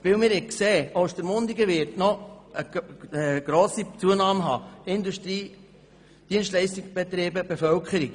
Wir haben gehört, dass Ostermundigen noch eine grosse Zunahme haben wird: Industrie, Dienstleistungsbetriebe, Bevölkerung.